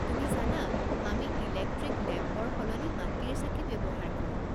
তুমি জানা, আমি ইলেক্ট্ৰিক লেম্পৰ সলনি মাটিৰ চাকি ব্যৱহাৰ কৰো।